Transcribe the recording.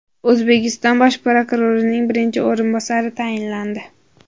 O‘zbekiston bosh prokurorining birinchi o‘rinbosari tayinlandi.